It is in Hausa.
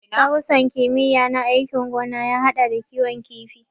Darussan kimiyya na aikin gona ya haɗa da kiwon kifi.